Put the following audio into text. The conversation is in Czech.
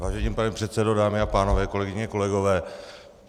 Vážený pane předsedo, dámy a pánové, kolegyně, kolegové.